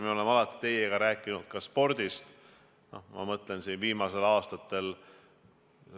Me oleme alati teiega rääkinud ka spordist, ma mõtlen, viimastel aastatel.